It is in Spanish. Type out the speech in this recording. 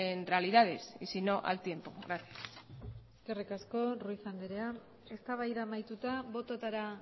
en realidades y si no al tiempo gracias eskerrik asko ruiz andrea eztabaida amaituta bototara